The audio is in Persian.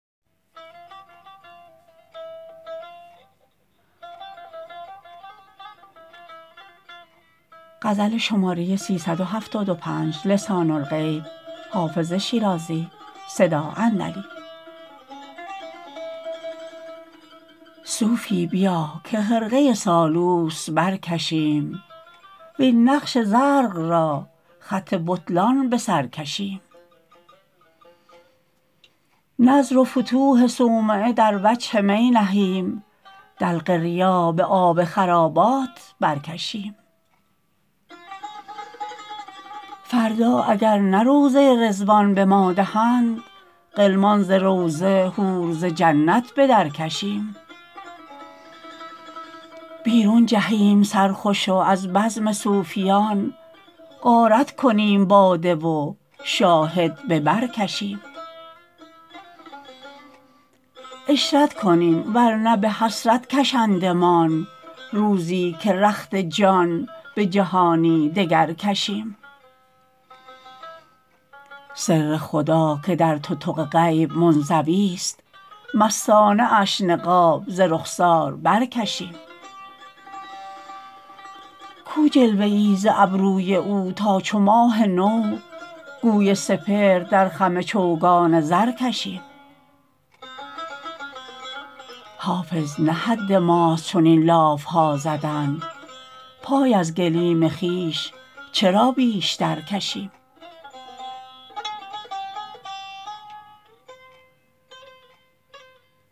صوفی بیا که خرقه سالوس برکشیم وین نقش زرق را خط بطلان به سر کشیم نذر و فتوح صومعه در وجه می نهیم دلق ریا به آب خرابات برکشیم فردا اگر نه روضه رضوان به ما دهند غلمان ز روضه حور ز جنت به درکشیم بیرون جهیم سرخوش و از بزم صوفیان غارت کنیم باده و شاهد به بر کشیم عشرت کنیم ور نه به حسرت کشندمان روزی که رخت جان به جهانی دگر کشیم سر خدا که در تتق غیب منزویست مستانه اش نقاب ز رخسار برکشیم کو جلوه ای ز ابروی او تا چو ماه نو گوی سپهر در خم چوگان زر کشیم حافظ نه حد ماست چنین لاف ها زدن پای از گلیم خویش چرا بیشتر کشیم